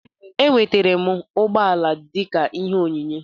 Enwetara m ụgbọala m dịka ihe onyinye